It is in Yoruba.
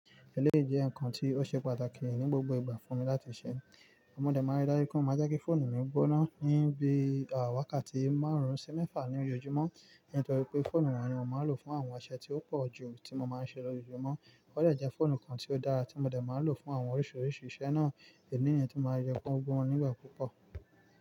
Èlé jẹ́ ǹkan tí ó ṣe pàtàkì ní gbogbo ìgbà fún mi láti ṣe. Mo dẹ̀ máa ri dájú pé kí o máa jẹ́ kí fóònù mi gbóná ní bí àwákà tí máa rún sí mẹ́fà ní ori ojúmọ́, nítorí pé fóònù un ni mo máa ń lò fún àwọn iṣẹ tí ó pọ̀jù tí mo máa ń ṣe lójoojúmọ́. O dẹ̀ jẹ́ fóònù kan tí ó dára tí mo dẹ̀ máa lò fún àwọn oríṣiríṣi iṣẹ́ náà, èní yẹn tí ó máa yọ gbóǹgbóǹ nígbà púpọ̀